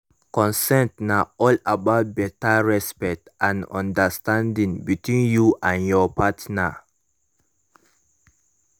consent na all about better respect and understanding between you and ur partner